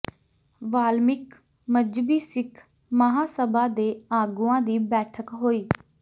ਵਾਲਮੀਕਿ ਮਜ਼੍ਹਬੀ ਸਿੱਖ ਮਹਾਂਸਭਾ ਦੇ ਆਗੂਆਂ ਦੀ ਬੈਠਕ ਹੋਈ